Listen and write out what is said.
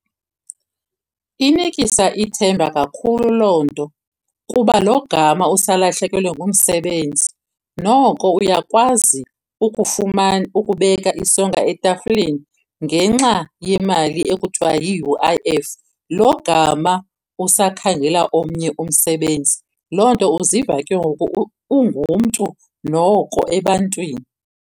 Inikisa ithemba kakhulu loo nto kuba logama usalahlekelwe ngumsebenzi noko uyakwazi ukubeka isonka etafileni ngenxa yemali ekuthiwa yi-U_I_F, logama usakhangela omnye umsebenzi. Loo nto uziva ke ngoku ungumntu noko ebantwini.